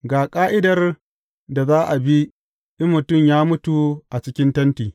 Ga ƙa’idar da za a bi in mutum ya mutu a cikin tenti.